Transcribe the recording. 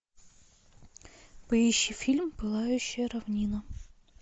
поищи фильм пылающая равнина